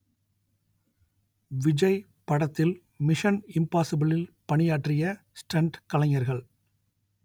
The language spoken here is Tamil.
விஜய் படத்தில் மிஷன் இம்பாஸிபிளில் பணியாற்றிய ஸ்டண்ட் கலைஞர்கள்